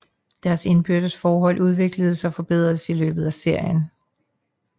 Deres indbyrdes forhold udvikles og forbedres i løbet af serien